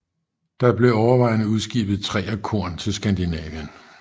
Der blev overvejende udskibet træ og korn til Skandinavien